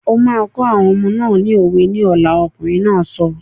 O máa kọ́ àwọn ọmọ náà ni òwe ní ọ̀la! Ọkùnrin náà sọ.